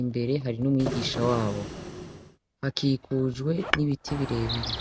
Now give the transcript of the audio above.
imbere hari n'umwigisha wabo hakikujwe n'ibiti birebire.